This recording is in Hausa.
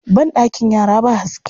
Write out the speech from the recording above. Banɗakin yara ba haske.